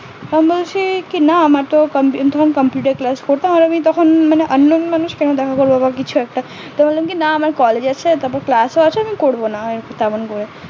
আমি বলছে কি না তো আমি বললাম কি না আমার collage আছে তারপর class ও আছে আমি করবো না একটু কারণ রয়েছে